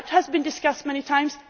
sharing. That has been discussed many